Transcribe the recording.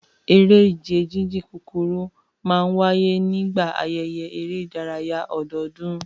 Eré ìje jíjìn kúkúrú máa ń wáyé nígbà ayẹyẹ eré ìdárayá ọdọọdún